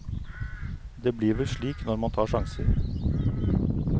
Det blir vel slik, når man tar sjanser.